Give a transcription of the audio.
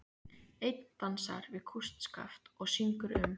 Einn dansar við kústskaft og syngur um